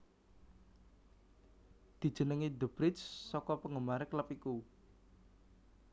Dijenengi the bridge saka penggemare klub iku